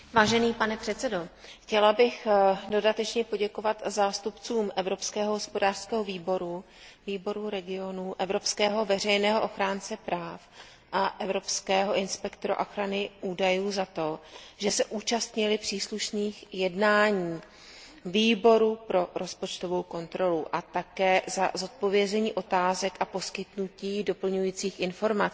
Pane předsedající, chtěla bych dodatečně poděkovat zástupcům Evropského hospodářského a sociálního výboru, Výboru regionů, evropského veřejného ochránce práv a evropského inspektora ochrany údajů za to, že se účastnili příslušných jednání Výboru pro rozpočtovou kontrolu a také za zodpovězení otázek a poskytnutí doplňujících informací.